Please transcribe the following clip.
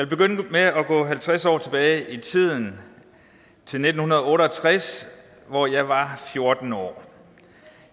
begynde med at gå halvtreds år tilbage i tiden til nitten otte og tres hvor jeg var fjorten år